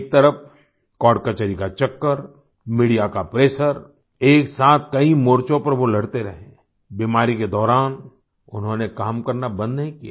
एक तरफ कोर्ट कचहरी का चक्कर मीडिया का प्रेशर एक साथ कई मोर्चों पर वो लड़ते रहे बीमारी के दौरान उन्होंने काम करना बंद नहीं किया